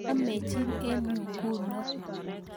amechin eng nyu nguno